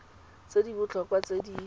tse di botlhokwa tse di